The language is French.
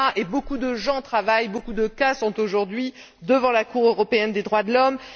Beaucoup de personnes travaillent et beaucoup de cas sont aujourd'hui devant la Cour européenne des droits de l'homme.